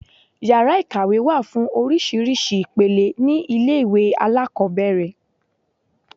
Yàrá ìkàwé wà fún oríṣiríṣi ìpele ní ilé ìwé alákọ̀ọ́bẹ̀rẹ̀.